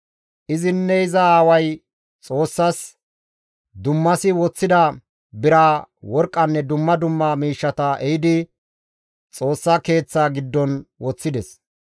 Izinne iza aaway Xoossaas dummasi woththida bira, worqqanne dumma dumma miishshata ehidi Xoossa keeththaa giddon woththides.